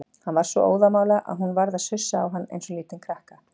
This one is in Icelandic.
Hann var svo óðamála að hún varð að sussa á hann eins og lítinn krakka.